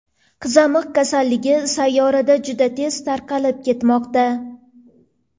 Qizamiq kasalligi sayyorada juda tez tarqalib ketmoqda.